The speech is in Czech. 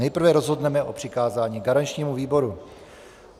Nejprve rozhodneme o přikázání garančnímu výboru.